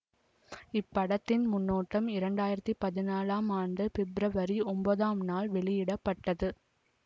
இப்படத்தின் முன்னோட்டம் இரண்டாயிரத்தி பதினாலாம் ஆண்டு பிப்ரவரி ஒன்பதாம் நாள் வெளியிட பட்டது